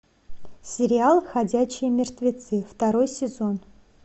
сериал ходячие мертвецы второй сезон